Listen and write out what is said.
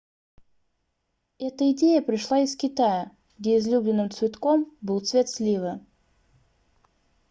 эта идея пришла из китая где излюбленным цветком был цвет сливы